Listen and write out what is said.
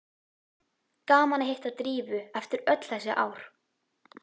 Gaman að hitta Drífu eftir öll þessi ár.